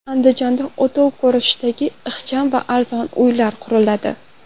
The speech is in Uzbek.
Andijonda o‘tov ko‘rinishidagi ixcham va arzon uylar quriladi .